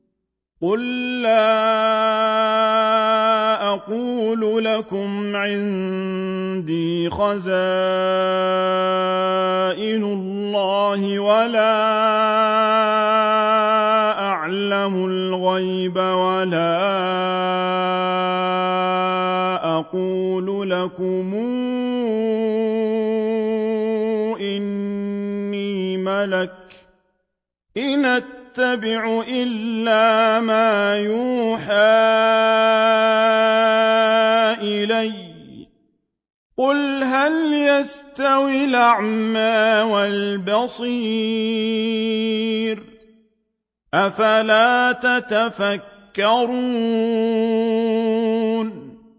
قُل لَّا أَقُولُ لَكُمْ عِندِي خَزَائِنُ اللَّهِ وَلَا أَعْلَمُ الْغَيْبَ وَلَا أَقُولُ لَكُمْ إِنِّي مَلَكٌ ۖ إِنْ أَتَّبِعُ إِلَّا مَا يُوحَىٰ إِلَيَّ ۚ قُلْ هَلْ يَسْتَوِي الْأَعْمَىٰ وَالْبَصِيرُ ۚ أَفَلَا تَتَفَكَّرُونَ